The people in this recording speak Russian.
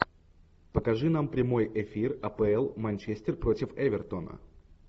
покажи нам прямой эфир апл манчестер против эвертона